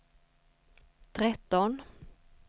tretton